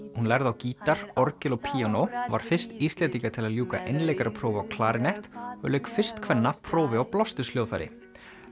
hún lærði á gítar orgel og píanó var fyrst Íslendinga til að ljúka einleikaraprófi á klarinett og lauk fyrst kvenna prófi á blásturshljóðfæri